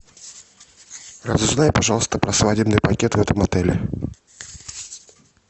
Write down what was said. разузнай пожалуйста про свадебный пакет в этом отеле